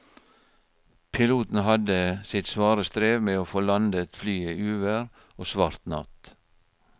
Piloten hadde sitt svare strev med å få landet flyet i uvær og svart natt.